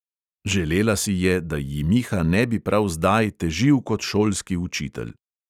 Želela si je, da ji miha ne bi prav zdaj težil kot šolski učitelj.